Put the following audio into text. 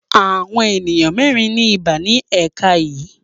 Àwọn ènìyàn mẹ́rin ní ibà ní ẹ̀ka yìí.